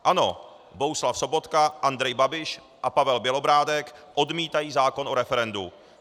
Ano, Bohuslav Sobotka, Andrej Babiš a Pavel Bělobrádek odmítají zákon o referendu.